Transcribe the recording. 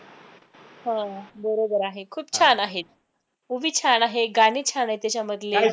हो बरोबर आहे, खूप छान आहेत, movie छान आहे, गाणी छान आहे त्याच्यामधले